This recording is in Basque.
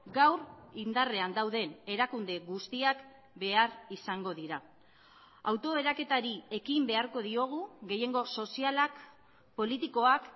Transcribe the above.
gaur indarrean dauden erakunde guztiak behar izango dira auto eraketari ekin beharko diogu gehiengo sozialak politikoak